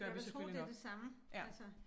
Jeg vil tro det det samme altså